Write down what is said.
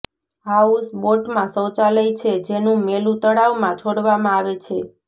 હાઉસબોટમાં શૌચાલય છે જેનું મેલું તળાવમાં છોડવામાં આવે છે